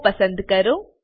ઓ પસંદ કરો